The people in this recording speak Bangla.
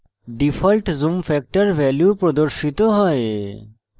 ডিফল্ট zoom factor % value প্রদর্শিত হয়